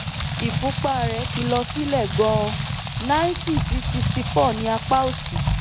ìfúnpá rẹ̀ ti lọ sílẹ̀ gan-an ninety sí sixty four ní apá òsì